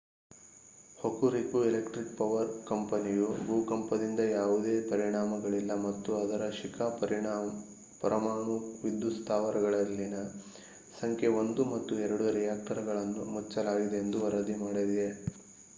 Hokuriku electric power ಕಂಪನಿಯು ಭೂಕಂಪದಿಂದ ಯಾವುದೇ ಪರಿಣಾಮಗಳಿಲ್ಲ ಮತ್ತು ಅದರ ಶಿಕಾ ಪರಮಾಣು ವಿದ್ಯುತ್ ಸ್ಥಾವರದಲ್ಲಿನ ಸಂಖ್ಯೆ 1 ಮತ್ತು 2 ರಿಯಾಕ್ಟರ್‌ಗಳನ್ನು ಮುಚ್ಚಲಾಗಿದೆ ಎಂದು ವರದಿ ಮಾಡಿದೆ